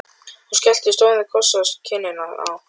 Hún skellti stórum kossi á kinnina á